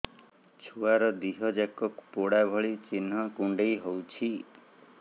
ଛୁଆର ଦିହ ଯାକ ପୋଡା ଭଳି ଚି଼ହ୍ନ କୁଣ୍ଡେଇ ହଉଛି